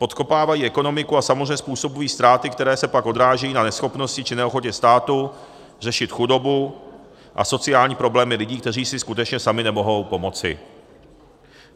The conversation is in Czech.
Podkopávají ekonomiku a samozřejmě způsobují ztráty, které se pak odrážejí na neschopnosti či neochotě státu řešit chudobu a sociální problémy lidí, kteří si skutečně sami nemohou pomoci.